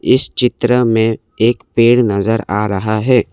इस चित्र में एक पेड़ नजर आ रहा है।